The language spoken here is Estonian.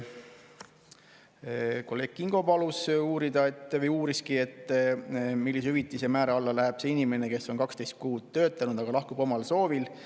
Kolleeg Kingo uuris, millise hüvitise määra alla läheb see inimene, kes on 12 kuud töötanud, aga lahkub omal soovil.